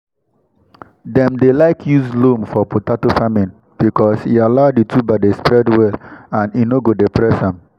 dem dey like use loam for potato farming because e allow di tuber dey spread well and e nor go dey press am.